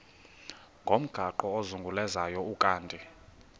ngomgaqo ozungulezayo ukanti